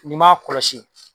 N'i m'a kɔlɔsi